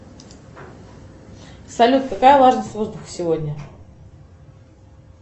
салют какая влажность воздуха сегодня